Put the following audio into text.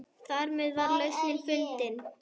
Þarmeð var lausnin fundin.